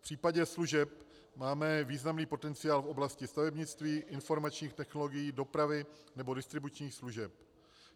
V případě služeb máme významný potenciál v oblasti stavebnictví, informačních technologií, dopravy nebo distribučních služeb.